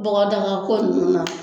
Bɔgɔdagako nunnu na